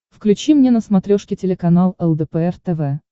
включи мне на смотрешке телеканал лдпр тв